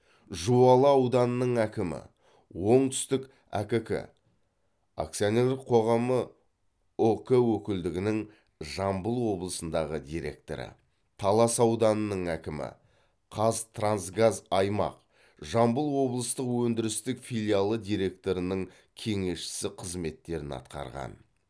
жуалы ауданының әкімі оңтүстік әкк акцианерлік қоғамы ұк өкілдігінің жамбыл облысындағы директоры талас ауданының әкімі қазтрансгаз аймақ жамбыл облыстық өндірістік филиалы директорының кеңесшісі қызметтерін атқарған